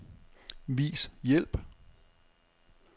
Vis hjælp.